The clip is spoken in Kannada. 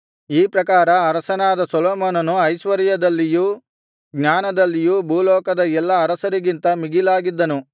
ಈ ಪ್ರಕಾರ ಅರಸನಾದ ಸೊಲೊಮೋನನು ಐಶ್ವರ್ಯದಲ್ಲಿಯೂ ಜ್ಞಾನದಲ್ಲಿಯೂ ಭೂಲೋಕದ ಎಲ್ಲಾ ಅರಸರಿಗಿಂತ ಮಿಗಿಲಾಗಿದ್ದನು